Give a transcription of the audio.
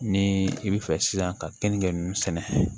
Ni i bi fɛ sisan ka keninge ninnu sɛnɛ